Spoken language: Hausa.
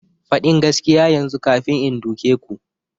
Fadin gaskiya yanzu kafin in doke ku!